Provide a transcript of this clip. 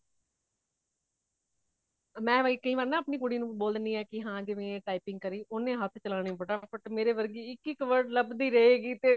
ਮੈਂ ਬਈ ਕਈ ਵਾਰ ਨਾ ਆਪਣੀ ਕੁੜੀ ਨੂੰ ਬੋਲ ਦੇਂਦੀ ਹੈ ਕੀ ਹਾ ਬਈ ਇਹ typing ਕਰੀ ਓਨੇ ਹੱਥ ਚਲਾਣੇ ਫਟਾ ਫਟ ਮੇਰੇ ਵਰਗੀ ਇਕ ਇਕ word ਲੱਬਦੀ ਰਹਹੇਗੀ ਤੇ